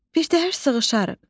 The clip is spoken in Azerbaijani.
Birtəhər sığışarıq.